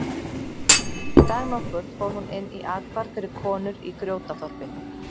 Dag nokkurn fór hún inn í athvarf fyrir konur í Grjótaþorpi.